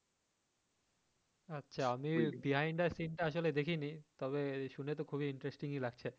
আচ্ছা আমি behind the scene টা আসলে দেখিনি তবে শুনে তো খুবই interesting ই লাগছে